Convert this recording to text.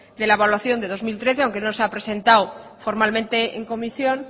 de la evaluación de dos mil trece aunque no se ha presentado formalmente en comisión